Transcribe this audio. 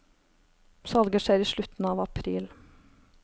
Salget skjer i slutten av april.